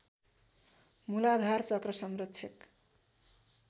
मूलाधार चक्र संरक्षक